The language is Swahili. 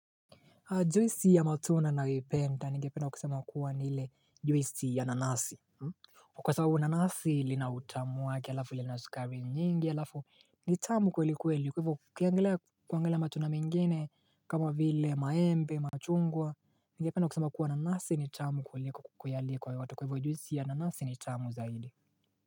Juisi ya matunda ninayoipenda ningependa kusema kuwa ni ile juisi ya nanasi kwa sababu nanasi lina utamu wake alafu lina sukari nyingi alafu ni tamu kweli kweli kwa hivyo ukiangalia kuangalia matunda mengine kama vile maembe machungwa ningependa kusema kuwa nanasi ni tamu kuliko kuyaliko yote kwa hivyo juisi ya nanasi ni tamu zaidi.